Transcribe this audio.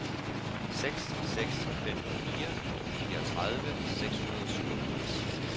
seks seks fem fire fireogtredive seks hundrede og syvogfirs